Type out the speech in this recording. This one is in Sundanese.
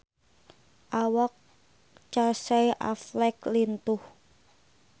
Awak Casey Affleck lintuh